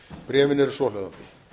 bréfin eru svohljóðandi